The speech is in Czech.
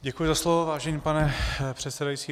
Děkuji za slovo, vážený pane předsedající.